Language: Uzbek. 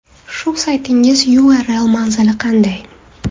Shu saytingiz URL manzili qanday?